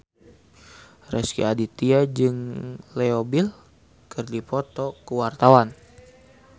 Rezky Aditya jeung Leo Bill keur dipoto ku wartawan